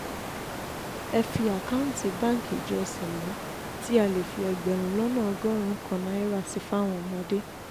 ẹ fi àkáǹtì báǹkì ìjọ cel tí a lè fi ẹgbẹ̀rún lọ́nà ọgọ́rùn-ún kan náírà sí fáwọn ọmọdé